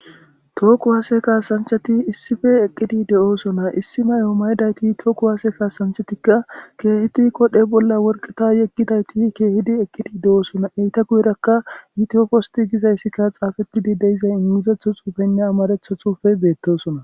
Thoho kwaasiya kaasanchchathi issipe eqqidi de7oosona;issi mayo mayda ethi thoho kuwaase kassanchchathikka keehidi bolla worqqa ethi keehidi eqqidi de7oosona; eetha guyeerakka gizayssikka tsaafethi de7izay amaaththo tsuufee beeththoosona.